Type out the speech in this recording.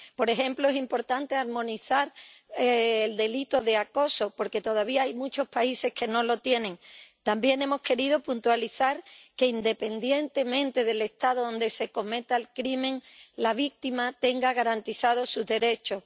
Por ejemplo, es importante armonizar el delito de acoso porque todavía hay muchos países que no lo tienen. También hemos querido puntualizar que, independientemente del Estado donde se cometa el delito, la víctima tenga garantizados sus derechos.